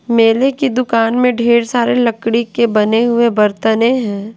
मेले की दुकान में ढेर सारे लकड़ी के बने हुए बरतने हैं।